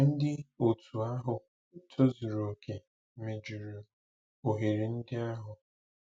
Ndị òtù ahụ tozuru okè mejuru ohere ndị ahụ.